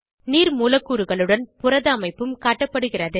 நீர் மூலக்கூறுகளுடன் புரத அமைப்பும் காட்டப்படுகிறது